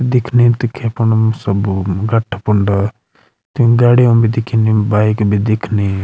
दिखने दिखे पड़णु सब्बू गट्ठा फण्ड ती गाड़ियों भी दिखेणी बाइक भी दिखेणी।